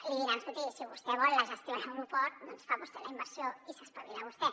li diran escolti si vostè vol la gestió de l’aeroport doncs fa vos·tè la inversió i s’espavila vostè